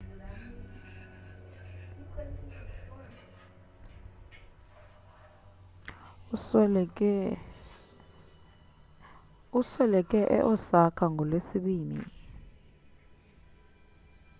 usweleke e-osaka ngolwesibini